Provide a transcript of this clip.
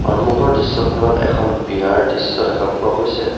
সন্মুখৰ দৃশ্যখনত এখন বিয়াৰ দৃশ্য দেখা পোৱা গৈছে।